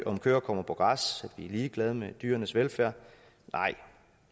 om køerne kommer på græs om er ligeglade med dyrenes velfærd nej